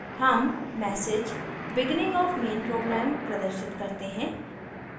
हम message beginning of main program प्रदर्शित करते हैं